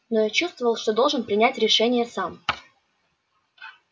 но я чувствовал что должен принять решение сам